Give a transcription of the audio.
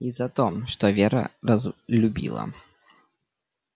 и за то что вера разлюбила